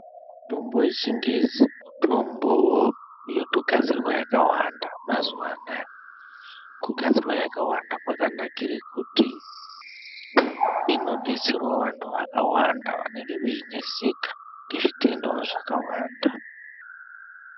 Mitombo yechingezi, mitombo yotogadzirwa yakawanda mazuwanaya. Kugadzirwa yakawanda kwakanakire kuti, inodetserawo vanthu vakawanda vanenge veineseka ngezvitenda zvakawanda.